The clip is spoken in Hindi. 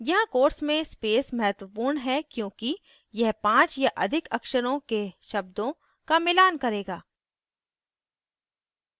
यहाँ quotes में space महत्वपूर्ण है क्योंकि यह 5 या अधिक अक्षरों के शब्दों का मिलान करेगा